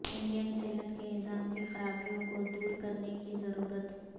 Indian صحت کے نظام کی خرابیوں کو دور کرنے کی ضرورت